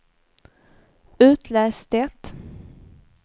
itläs det